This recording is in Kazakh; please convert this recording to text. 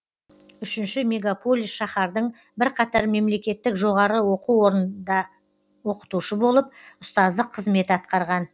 үшінші мегаполис шаһардың бірқатар мемлекеттік жоғары оқу орындарында оқытушы болып ұстаздық қызмет атқарған